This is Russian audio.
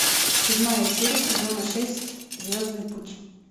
седьмая серия сезона шесть звездный путь